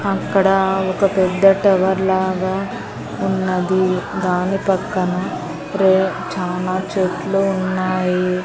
అక్కడ ఒక పెద్ద టవర్ లాగా ఉన్నది. దాని పక్కన రే చానా చెట్లు ఉన్నాయి.